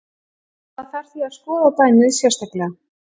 Það þarf því að skoða dæmið sérstaklega.